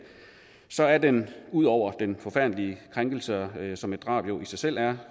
så er den ud over den forfærdelige krænkelse som et drab jo i sig selv er